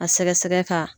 A sɛgɛsɛgɛ k'a